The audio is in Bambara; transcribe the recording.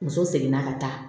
Muso seginna ka taa